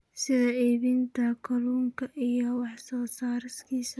sida iibinta kalluunka iyo wax soo saarkiisa.